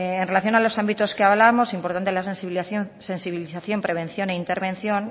en relación a los ámbitos que hablábamos es importante la sensibilización prevención e intervención